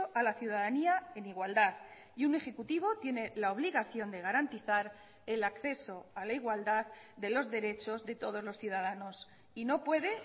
a la ciudadanía en igualdad y un ejecutivo tiene la obligación de garantizar el acceso a la igualdad de los derechos de todos los ciudadanos y no puede